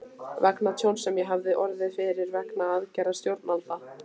vegna tjóns sem ég hafði orðið fyrir vegna aðgerða stjórnvalda.